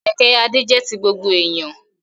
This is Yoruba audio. Kẹ̀kẹ́ Adé jẹ́ ti gbogbo èèyàn